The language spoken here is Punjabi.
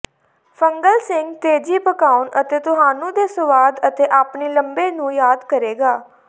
ਫੰਗਲ ਸਿੰਗ ਤੇਜ਼ੀ ਪਕਾਉਣ ਅਤੇ ਤੁਹਾਨੂੰ ਦੇ ਸੁਆਦ ਅਤੇ ਆਪਣੇ ਲੰਬੇ ਨੂੰ ਯਾਦ ਕਰੇਗਾ